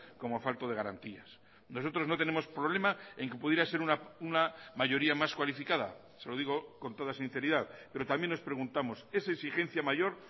como falto de garantías nosotros no tenemos problema en que pudiera ser una mayoría más cualificada se lo digo con toda sinceridad pero también nos preguntamos esa exigencia mayor